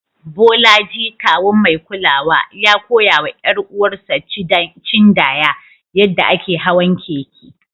Bolaji, kawun mai kulawa, ya koya wa ƴar uwarsa Chindaya yadda ake hawan keke.